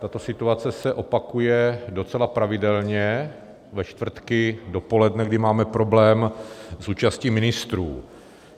Tato situace se opakuje docela pravidelně ve čtvrtky dopoledne, kdy máme problém s účastí ministrů.